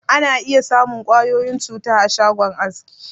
Ana iya samun ƙwayoyin cuta a shagon aski.